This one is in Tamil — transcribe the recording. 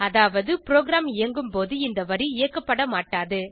அதாவது ப்ரோகிராம் இயங்கும்போது இந்த வரி இயக்கப்பட மாட்டாது